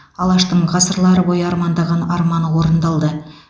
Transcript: алаштың ғасырлар бойы армандаған арманы орындалды